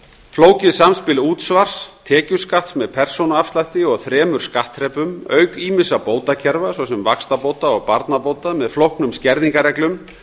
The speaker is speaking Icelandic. flókið samspil útsvars tekjuskatts með persónuafslætti og þremur skattþrepum auk ýmissa bótakerfa svo sem vaxtabóta og barnabóta með flóknum skerðingarreglum